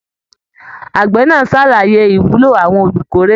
Àgbẹ náà sàlàyé ìwúlò àwọn olukórè.